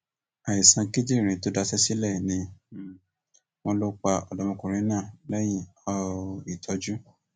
àìsàn kíndìnrín tó daṣẹ sílẹ ni um wọn lọ pa ọdọmọkùnrin náà lẹyìn um ìtọjú